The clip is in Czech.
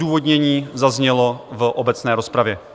Odůvodnění zaznělo v obecné rozpravě.